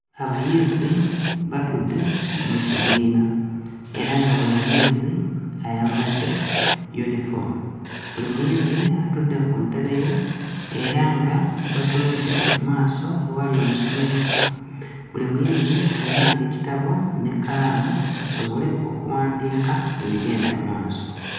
Abayizzi batudde mu kibiina era nga buli muyizzi ayambadde yunifoomu, buli muyizi atudde ku ntebe ye era nga batunudde mmaaso ewali omusomesa. Buli muyizi ayina ekitabo n'ekkalamu basobole okuwandiika ebigenda mmaaso.